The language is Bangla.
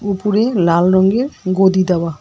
উপরে লাল রঙ্গের গদি দেওয়া।